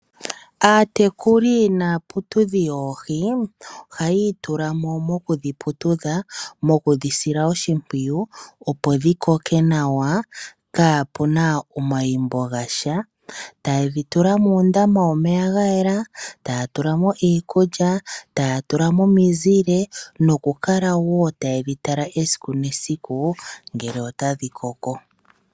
Aatekuli naaputudhi yoohi ohaya itula mo mokudhi putudha, mokudhi sila oshimpwiyu, opo dhi koke nawa kaapu na omayimbo ga sha. Taye dhi tula muundama womeya ga yela, taya tula mo iikulya, taya tula mo omizile nokukala wo taye dhi tala esiku nesiku ngele otadhi koko.